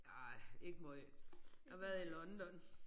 Nej ikke meget. Jeg har været i London